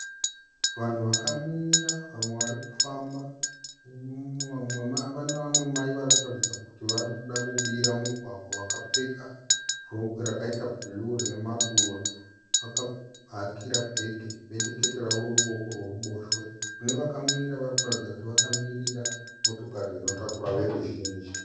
Vanhu vakamira vamwe varikufamba. Pane vamwe Mai vanoratidza kuti vanoda kubira mugwagwa vakapfeka rokwe rakaita blue rine maruva. Vakahakira bhege necheruoko rwavo rworuboshwe. Nevakamira vanoratidza kuti vakamirira motokari dzinotakura voruzhinji